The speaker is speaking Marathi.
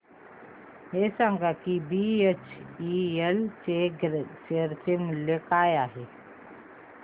हे सांगा की बीएचईएल चे शेअर मूल्य काय आहे